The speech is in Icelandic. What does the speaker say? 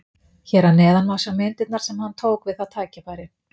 Hér að neðan má sjá myndirnar sem hann tók við það tækifæri.